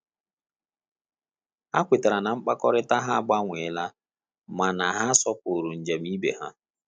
Ha kwetara na mmekọrịta ha agbanwe la mana ha sopuru njem ibe ha